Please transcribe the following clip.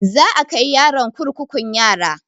Za a kai yaron kurkukun yara